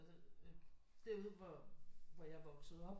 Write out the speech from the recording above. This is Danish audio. Derude hvor hvor jeg er vokset op